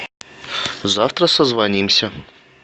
завтра созвонимся